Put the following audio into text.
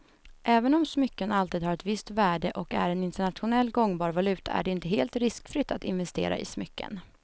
Även om smycken alltid har ett visst värde och är en internationellt gångbar valuta är det inte helt riskfritt att investera i smycken.